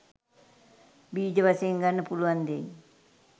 බීජ වශයෙන් ගන්න පුළුවන් දෙයින්